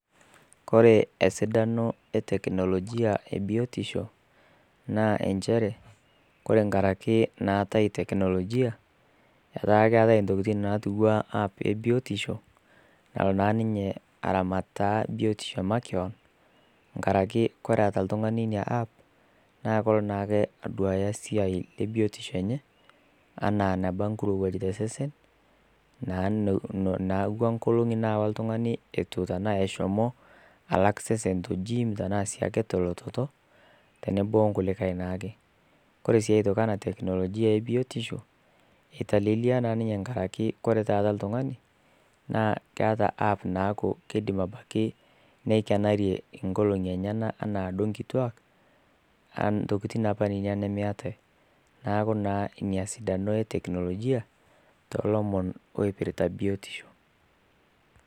Kore esidano e tekinolojia e biotisho naa enchere, Kore enkaraki naatai teknolojia etaa keatai intokitin natu ana app e biotisho nalo naa ninye aramataa biotisho e makewan, enkaraki ore eata oltung'ani Ina app naa ilo naake aduaya esiai e biotisho enye, anaa enabaa enkirouwaj tesesen, naa naapuo nkolongi nalo l'tungani eitu tanaa eshomo alak sesen te jiim anaa sii ake tolototo, tenebo o nkulikai naake. Kore sii aitoki anaa teknolojia e biotisho eitalelia naa ninye enkaraki taata l'tungani naa keata app naaku keidim abaiki neibayarie inkoolong'i enyena anaa duo inkituak, ntokitin naa apa ninye nemeatai, neaku naa Ina esidano e tekinolojia toolomon oipirita biotisho.